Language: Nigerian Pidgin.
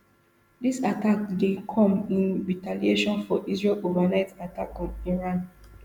dis attack dey come in retaliation for israel overnight attack on iran